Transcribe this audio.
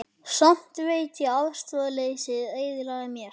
Samt veit ég að afstöðuleysið eyðilagði mest.